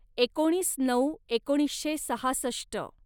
एकोणीस नऊ एकोणीसशे सहासष्ट